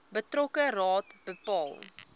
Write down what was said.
betrokke raad bepaal